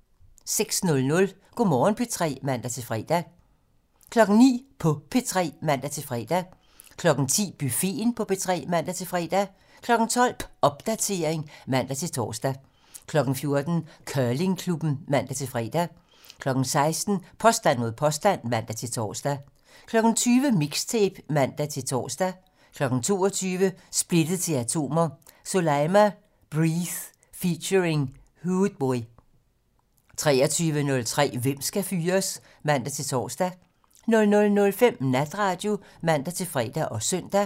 06:00: Go' Morgen P3 (man-fre) 09:00: På P3 (man-fre) 10:00: Buffeten på P3 (man-fre) 12:00: Popdatering (man-tor) 14:00: Curlingklubben (man-fre) 16:00: Påstand mod påstand (man-tor) 20:00: Mixtape (man-tor) 22:00: Splittet til atomer - Soleima: Breathe (feat. Hoodboi) 23:03: Hvem skal fyres? (man-tor) 00:05: Natradio (man-fre og søn)